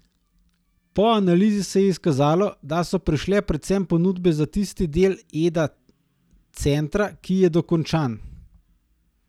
Po analizi se je izkazalo, da so prišle predvsem ponudbe za tisti del Eda centra, ki je dokončan.